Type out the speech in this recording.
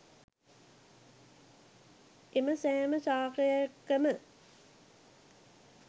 එම සෑම ශාකයකම